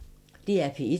DR P1